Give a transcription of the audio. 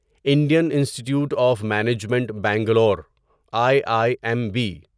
Indian institute of management Bangalore I I M be